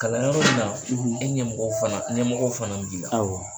Kalanyɔrɔ in na e ɲɛmɔgɔw fana ɲɛmɔgɔw fana b'i la awɔ.